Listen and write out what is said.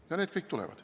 Ja need kõik tulevad.